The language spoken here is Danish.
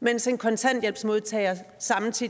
mens en kontanthjælpsmodtager